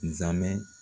Zamɛ